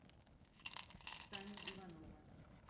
сани иванова